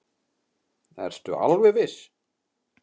Ertu alveg viss?